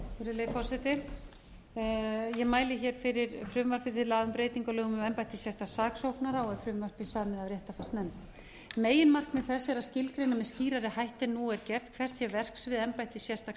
virðulegi forseti ég mæli hér fyrir frumvarp til laga um breytingu á lögum um embætti sérstaks saksóknara og er frumvarpið samið af réttarfarsnefnd meginmarkmið þess er að skilgreina með skýrari hætti en nú er gert hvert sé verksvið embættis sérstaks